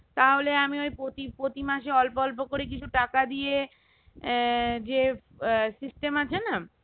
তাহলে আমি ওই প্রতি~প্রতিমাসে অল্প অল্প করে কিছু টাকা দিয়ে আহ যে আহ sestem আছে না